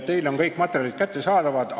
Teile on kõik materjalid kättesaadavad.